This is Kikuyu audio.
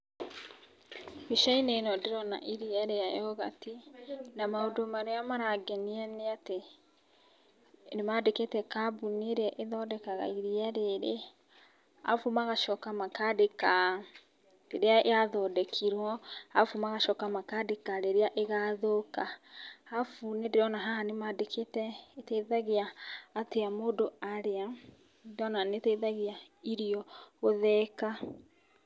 Mbica-inĩ ĩno ndĩrona iria rĩa yogati na maũndũ marĩa marangenia nĩ atĩ nĩ mandĩkĩte kambuni ĩria ĩthondekaga iria rĩrĩ, arabu magacoka makandĩka rĩrĩa yathondekirwo, arabu magacoka makandĩka rĩrĩa ĩgathũka. Arabu haha nĩ ndĩrona nĩ mandĩkĩte rĩteithagia atia mũndũ arĩa, ndĩrona rĩteithagia irio gũthĩĩka.